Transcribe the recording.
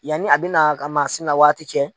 Yanni a bɛna ka maa si na waati cɛ